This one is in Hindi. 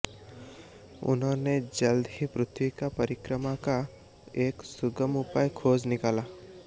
उन्होंने जल्द ही पृथ्वी की परिक्रमा का एक सुगम उपाय खोज निकाला